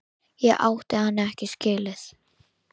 Ég átti hann ekki skilið.